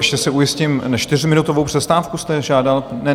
Ještě se ujistím, čtyřminutovou přestávku jste žádal?